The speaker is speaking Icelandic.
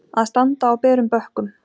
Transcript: Að standa á berum bökkum